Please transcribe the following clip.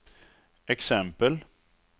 exempel